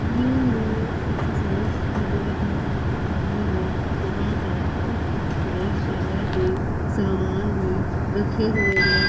Exercise करने की जगह है जहाँ पर कुछ एक्सरसाइज करने की सामान भी रखे गए हैं।